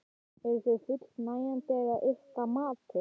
Eru þau fullnægjandi að ykkar mati?